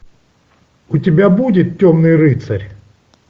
у тебя будет темный рыцарь